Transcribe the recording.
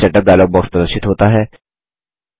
page setup dialog box प्रदर्शित होता है